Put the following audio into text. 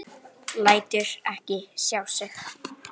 Lætur ekki sjá sig.